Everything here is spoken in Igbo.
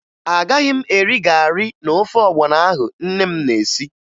Agaghị m eri garị na ofe ọgbọnọ ahụ nne m na-esi